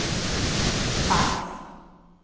fax